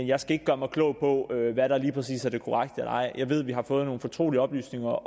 jeg skal ikke gøre mig klog på hvad der lige præcis er det korrekte og er jeg ved at vi har fået nogle fortrolige oplysninger